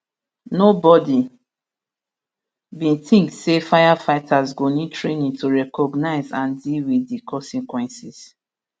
nobody bin tink say firefighters go need training to recognise and deal wit di consequences